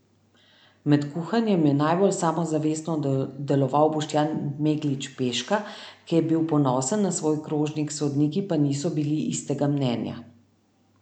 Med kuhanjem je najbolj samozavestno deloval Boštjan Meglič Peška, ki je bil ponosen na svoj krožnik, sodniki pa niso bili istega mnenja.